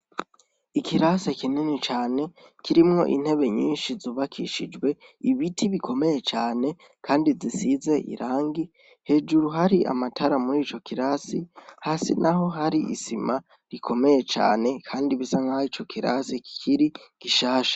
Ikirase kinini cane kirimwo intebe nyinshi zubakishijwe ibiti bikomeje cane kandi zisize irangi, hejuru hari amatara murico kirasi hasi naho hari isima rikomeye cane kandi bisa nkaho ico kirasi kikiri gishasha.